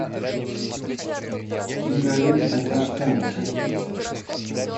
кинолента каштанка